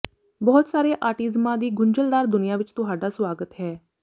ਬਹੁਤ ਸਾਰੇ ਆਟਿਜ਼ਮਾਂ ਦੀ ਗੁੰਝਲਦਾਰ ਦੁਨੀਆਂ ਵਿਚ ਤੁਹਾਡਾ ਸੁਆਗਤ ਹੈ